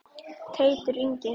Teitur Ingi.